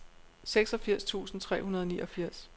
seksogfirs tusind tre hundrede og niogfirs